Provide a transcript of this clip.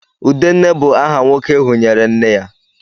Udenne bu aha nwoke ehunyere nne ya